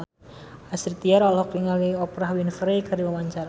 Astrid Tiar olohok ningali Oprah Winfrey keur diwawancara